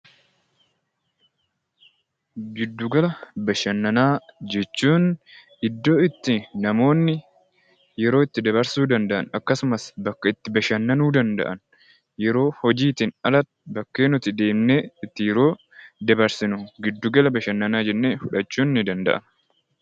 Giddu gala bashannanaa jechuun iddoo itti namoonni yeroo ulirri dabarsuu danda’an akkasumas iddoo itti bashannanuu danda’an, yeroo hojiitiin ala bakka nuti deemnee yeroo itti dabarsinu giddu gala bashannanaa jennee fudhachuun ni danda’ama.